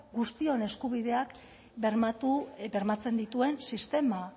guztion eskubideak bermatzen dituen sistema